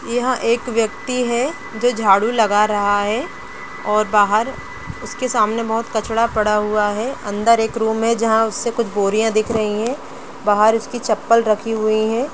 यह एक व्यक्ति है जो झाड़ू लगा रहा है और बाहर उसके सामने बहुत कचरा पड़ा हुआ है अंदर एक रूम में जहां से कुछ बोरियां दिख रही है बाहर इसकी चप्पल रखी हुई है।